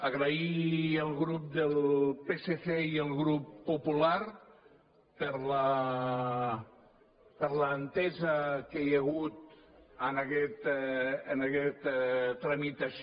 agrair al grup del psc i el grup popular per l’entesa que hi ha hagut en aquest en aquesta tramitació